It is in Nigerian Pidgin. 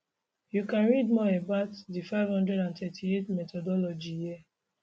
you can read more about the 538 methodology here